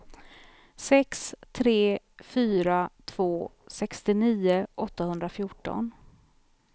sex tre fyra två sextionio åttahundrafjorton